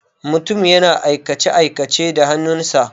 Mutum yana aikace-aikace da hannun sa.